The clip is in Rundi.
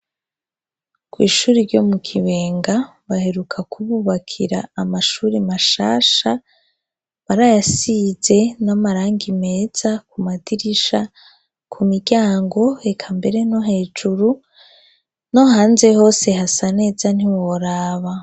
Kw'ishuri ryo mu Kibenga, baheruka kububakira amashuri mashasha, barayasize n'amarangi meza ku madirisha, ku miryango, eka mbere no hejuru, no hanze hose hasa neza ntiworaba.